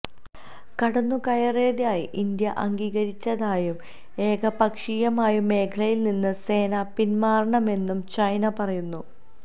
കടന്നുകയറിയതായി India അംഗീകരിച്ചതായും ഏകപക്ഷീയമായി മേഖലയില്നിന്ന് സേന പിന്മാറണമെന്നും ചൈന പറയുന്നു